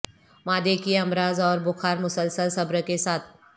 معدے کے امراض اور بخار مسلسل صبر کے ساتھ